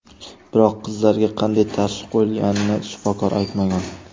Biroq qizlarga qanday tashxis qo‘yilganini shifokor aytmagan.